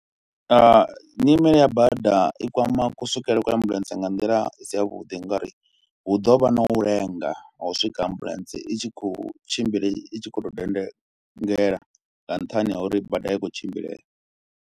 Nyimele ya bada i kwama ku swikelele kwa ambuḽentse nga nḓila i si yavhuḓi ngauri hu ḓo vha na u lenga ha u swika ambuḽentse i tshi khou tshimbila i tshi khou tou dendengela nga nṱhani ha uri bada a i khou tshimbilea.